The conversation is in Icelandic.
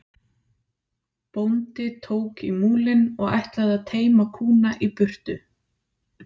Bóndi tók í múlinn og ætlaði að teyma kúna í burtu.